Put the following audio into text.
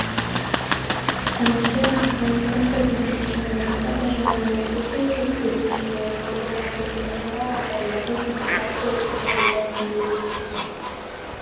әнші ақын композитор жаяу мұса байжанұлы мың сегіз жүз отыз бесінші жылы павлодар облысы баянауыл ауданындағы жасыбай көлінің маңында дүниеге келген